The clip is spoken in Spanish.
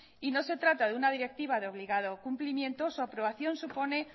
y no se trata de una directiva de obligado cumplimiento su aprobación supone